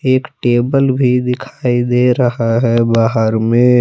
एक टेबल भी दिखाई दे रहा है बाहर में--